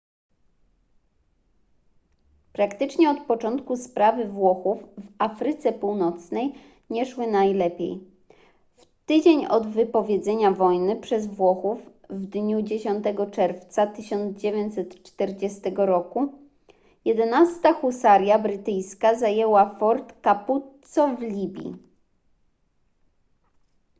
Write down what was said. praktycznie od początku sprawy włochów w afryce północnej nie szły najlepiej w tydzień od wypowiedzenia wojny przez włochów w dniu 10 czerwca 1940 roku 11 husaria brytyjska zajęła fort capuzzo w libii